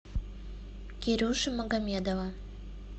кирюши магомедова